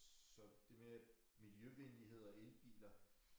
Så det med miljøvenlighed og elbiler